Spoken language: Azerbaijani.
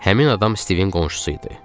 Həmin adam Stivin qonşusu idi.